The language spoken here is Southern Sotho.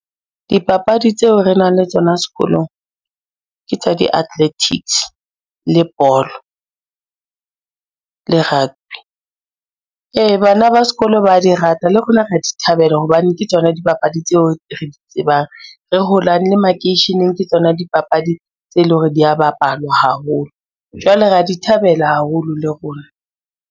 Dipapadi tseo re nang le tsona sekolong ke tsa di-athletics, le bolo, le rugby. Ee, bana ba sekolo ba di rata le rona re a di thabela hobane ke tsona dipapadi tseo re di tsebang re holang le makeisheneng ke tsona dipapadi tseo e leng hore dia bapalwa haholo. Jwale re a di thabela haholo le rona.